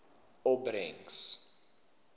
opbrengs